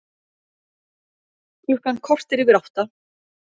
Klukkan korter yfir átta